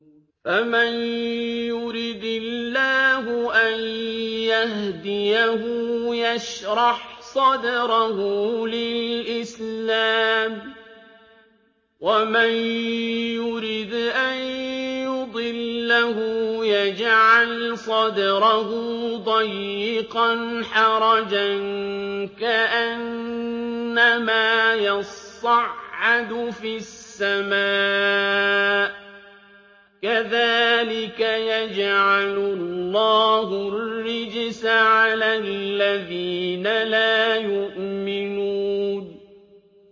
فَمَن يُرِدِ اللَّهُ أَن يَهْدِيَهُ يَشْرَحْ صَدْرَهُ لِلْإِسْلَامِ ۖ وَمَن يُرِدْ أَن يُضِلَّهُ يَجْعَلْ صَدْرَهُ ضَيِّقًا حَرَجًا كَأَنَّمَا يَصَّعَّدُ فِي السَّمَاءِ ۚ كَذَٰلِكَ يَجْعَلُ اللَّهُ الرِّجْسَ عَلَى الَّذِينَ لَا يُؤْمِنُونَ